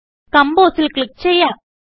compose ൽ click ചെയ്യാം